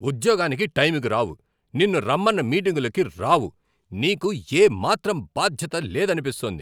ఉద్యోగానికి టైంకి రావు, నిన్ను రమ్మన్న మీటింగులకు రావు! నీకు ఏమాత్రం బాధ్యత లేదనిపిస్తోంది.